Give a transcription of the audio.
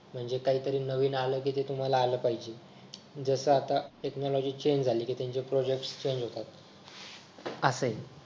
म्हणजे काहीतरी नवीन आलं कि ते तुम्हाला आलं पाहिजे जस आता टेकनॉलॉजि चेंज झाली कि त्यांचे प्रोजेक्ट चेंज होतात असं आहे